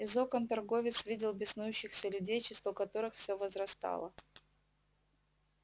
из окон торговец видел беснующихся людей число которых всё возрастало